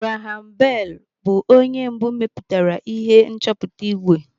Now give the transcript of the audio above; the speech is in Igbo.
Graham Bell bụ onye mbụ mepụtara ihe nchọpụta ìgwè.